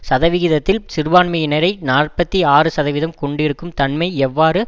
சதவிகிதத்தில் சிறுபான்மையினரைக் நாற்பத்தி ஆறு சதவீதம் கொண்டிருக்கும் தன்மை எவ்வாறு